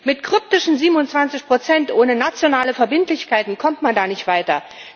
Mit kryptischen 27 ohne nationale Verbindlichkeiten kommt man da nicht weiter.